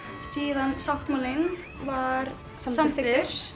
síðan sáttmálinn var samþykktur